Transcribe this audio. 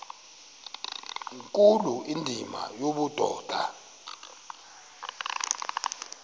nkulu indima yobudoda